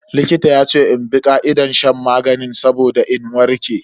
Likitan yace in bi ka'idar shan maganin saboda in warke.